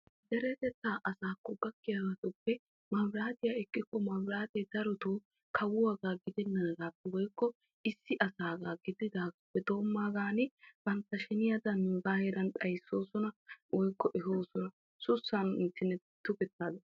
deretettaa asaakko gakkiyabatuppe maabiraatiya ekkikko maabiraate kawuwagaa gidennaagaa woyikko issi asaagaa gididaagaappe doommaagan bantta sheniyadan nuugaa heeran xayissoosona woyikko ehoosona sussan tukettaadan.